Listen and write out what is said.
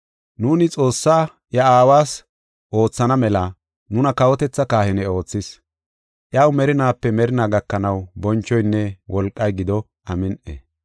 Nuuni Xoossaa iya Aawas oothana mela nuna kawotethaa kahine oothis. Iyaw merinaape merinaa gakanaw bonchoynne wolqay gido. Amin7i.